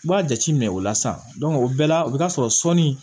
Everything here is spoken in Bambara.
I b'a jate minɛ o la sisan o bɛɛ la o bi t'a sɔrɔ sɔni